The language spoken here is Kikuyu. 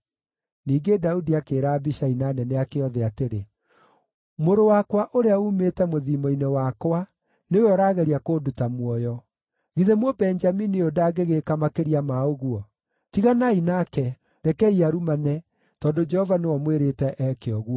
Ningĩ Daudi akĩĩra Abishai na anene ake othe atĩrĩ, “Mũrũ wakwa, ũrĩa uumĩte mũthiimo-inĩ wakwa, nĩwe ũraageria kũnduta muoyo. Githĩ Mũbenjamini ũyũ ndangĩgĩĩka makĩria ma ũguo! Tiganai nake; rekei arumane, tondũ Jehova nĩwe ũmwĩrĩte eke ũguo.